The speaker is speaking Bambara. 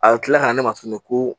A bɛ kila ka ne ma tuguni ko